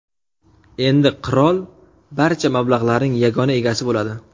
Endi qirol barcha mablag‘larning yagona egasi bo‘ladi.